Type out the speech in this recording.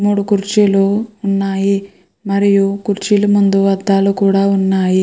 మూడూ కుర్చీలు ఉన్నాయి. మరియు కుర్చీలు ముందు అద్దాలు కూడ ఉన్నాయి.